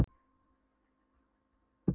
Ég var tvítugur en hafði aldrei hitt mömmu þegar